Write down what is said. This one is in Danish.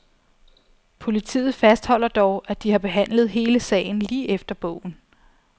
Politiet fastholder dog, at de har behandlet hele sagen lige efter bogen.